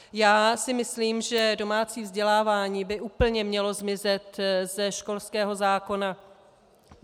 Já si myslím, že domácí vzdělávání by úplně mělo zmizet ze školského zákona.